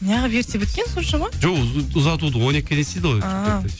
неғып ерте біткен соншама жоқ ұзатуды он екіге дейін істейді ғой шымкентте